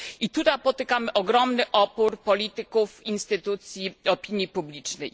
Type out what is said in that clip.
I tu napotykam na ogromny opór polityków, instytucji, opinii publicznej.